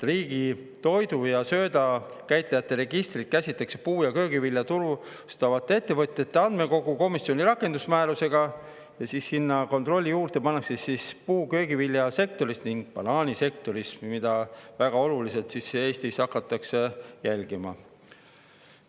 Riigi toidu ja sööda käitlejate registrit käsitatakse puu- ja köögivilja turustavate ettevõtjate andmekoguna komisjoni rakendusmääruse ja siis sinna kontrolli juurde pannakse puu‑ ja köögiviljasektor ning banaanisektor, mida väga oluliselt hakatakse Eestis jälgima.